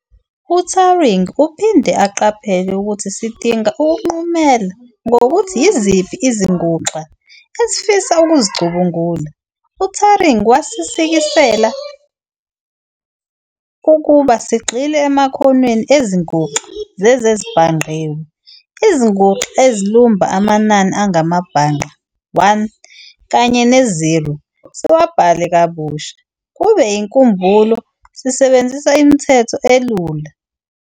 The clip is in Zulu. UTuring uphinde aqaphele ukuthi sidinga ukunqumela ngokuthi yiziphi "izinguxa" esifisa ukuzicubungula. UTuring wasikisela ukuba sigxile emakhonweni ezinguxa zezezibhangqiwe-izinguxa ezilumba amanani angamabhangqa, 1 kanye ne-0, siwabhale kabusha kube yinkumbulo sisebenzisa imithetho elula.